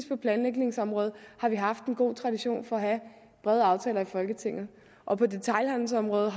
på planlægningsområdet har vi haft en god tradition for at have brede aftaler i folketinget og på detailhandelsområdet